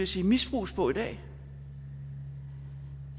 sige misbruges på i dag